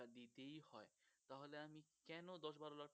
দিতেই হয় তাহলে আমি কেন দশ বারো লাখ